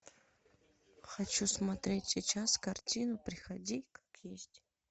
хочу смотреть сейчас картину приходи как есть